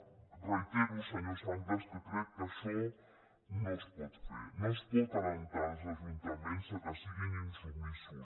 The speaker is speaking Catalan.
ho reitero senyor sanglas que crec que això no es pot fer no es pot encoratjar els ajuntaments que siguin insubmisos